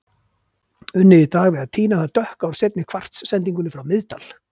Unnið í dag við að tína það dökka úr seinni kvars-sendingunni frá Miðdal.